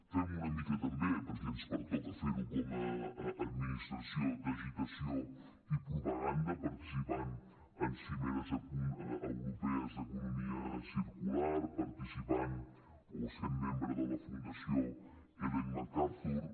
fem una mica també perquè ens pertoca fer ho com a administració d’agitació i propaganda participant en cimeres europees d’economia circular participant o sent membre de la fundació ellen macarthur